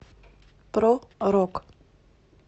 про рок